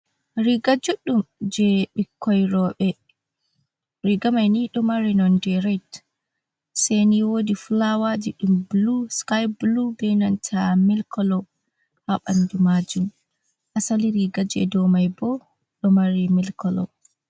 Riga juuɗɗum jey ɓikoi rooɓe ɗo mari nonde red, seyni woodi fulaawaaji ɗum bulu, sikaay bulu bee nanta mel kolo haa ɓanndu maajum, asali riigaaji do'o mai boo ɗo mari mel kolo.